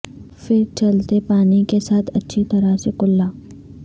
پھر چلتے پانی کے ساتھ اچھی طرح سے کللا